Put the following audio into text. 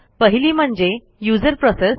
पहिली म्हणजे userप्रोसेस